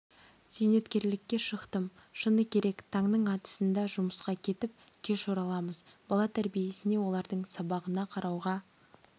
зейнеткерлікке шықтым шыны керек таңның атысында жұмысқа кетіп кеш ораламыз бала тәрбиесіне олардың сабағына қарауға